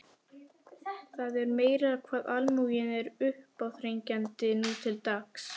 Það er meira hvað almúginn er uppáþrengjandi nú til dags.